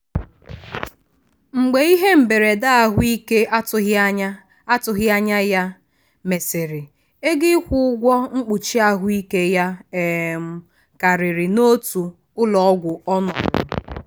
mgbe ihe mberede ahụike atụghị anya atụghị anya ya mesịrị ego ịkwụ ụgwọ mkpuchi ahụ ike ya um karịrị n'otu ụlọọgwụ ọnọrọ.